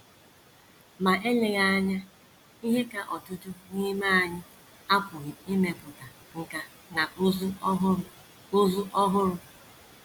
Ma eleghị anya, ihe ka ọtụtụ n’ime anyị apụghị imepụta nkà na ụzụ ọhụrụ ụzụ ọhụrụ.